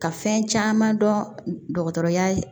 Ka fɛn caman dɔn dɔgɔtɔrɔya ye